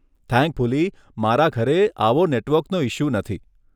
Thankfully, મારા ઘરે આવો નેટવર્કનો ઇશ્યૂ નથી.